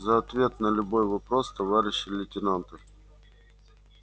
за ответ на любой вопрос товарищи лейтенанты